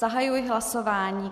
Zahajuji hlasování.